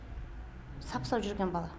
сап сау жүрген бала